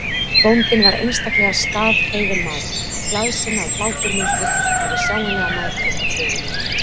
Bóndinn var einstaklega skrafhreifinn maður, glaðsinna og hláturmildur, og hafði sjáanlega mætur á föður mínum.